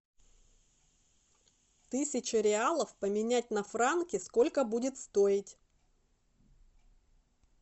тысяча реалов поменять на франки сколько будет стоить